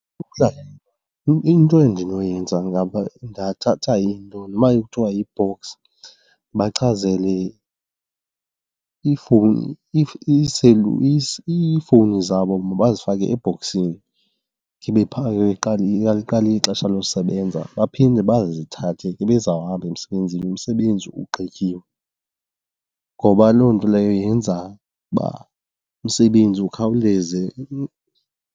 Into endinoyenza ndingathatha into noma ekuthiwa yi-box ndibachazele iifowuni, iifowuni zabo mabazifake ebhokisini ibe phaya xa liqala ixesha losebenza baphinde bazithathe xa bazawuhamba emsebenzini umsebenzi ugqitywe. Ngoba loo nto leyo yenza uba umsebenzi ukhawuleze.